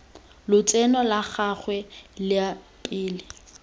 lotseno la gagwe la pele